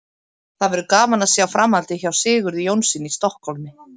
Það verður gaman að sjá framhaldið hjá Sigurði Jónssyni í Stokkhólmi.